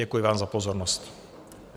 Děkuji vám za pozornost.